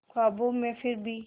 ख्वाबों में फिर भी